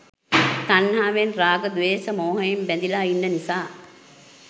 තණ්හාවෙන් රාග, ද්වේෂ, මෝහයෙන් බැඳිලා ඉන්න නිසා.